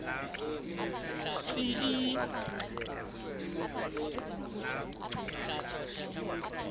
tsi i i